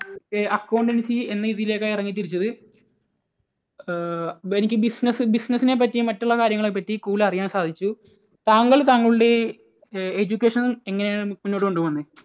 accountancy എന്ന ഇതിലേക്കാണ് ഇറങ്ങിത്തിരിച്ചത്. അഹ് എനിക്ക് business, business നെ പറ്റിയും മറ്റുള്ള കാര്യങ്ങളെ പറ്റിയും കൂടുതൽ അറിയാൻ സാധിച്ചു. താങ്കൾ താങ്കളുടെ education എങ്ങനെയാണ് മുന്നോട്ട് കൊണ്ടു പോകുന്നത്?